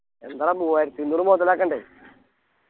എന്താടാ മൂവായിരത്തി അഞ്ഞൂറ് മൊതലാക്കണ്ടേ